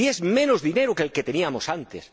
Si es menos dinero que el que teníamos antes.